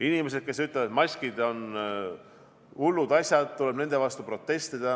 Inimesed ütlevad, et maskid on hullud asjad, nende vastu tuleb protestida.